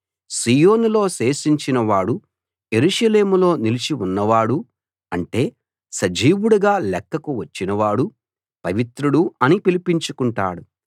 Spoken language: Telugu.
సీయోనులో శేషించిన వాడూ యెరూషలేములో నిలిచి ఉన్నవాడూ అంటే సజీవుడుగా లెక్కకు వచ్చినవాడు పవిత్రుడు అని పిలిపించుకుంటాడు